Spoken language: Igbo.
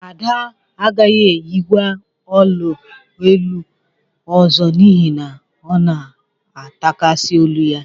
Ada agaghị eyikwa ọla olu ọzọ n'ihi na ọ na-atakasị olu ya